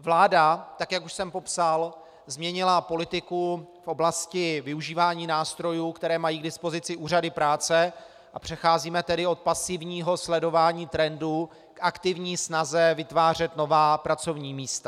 Vláda, tak jak už jsem popsal, změnila politiku v oblasti využívání nástrojů, které mají k dispozici úřady práce, a přecházíme tedy od pasivního sledování trendů k aktivní snaze vytvářet nová pracovní místa.